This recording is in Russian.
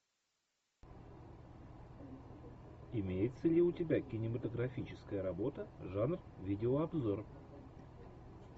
имеется ли у тебя кинематографическая работа жанр видеообзор